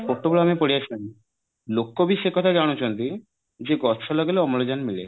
ବର୍ତ୍ତମାନ ବି ପଡିଆସିଲେଣି ଲୋକ ବି ସେଇ କଥା ଜାଣୁଛନ୍ତି ଯେ ଗଛ ଲଗେଇଲେ ଅମ୍ଳଜାନ ମିଳେ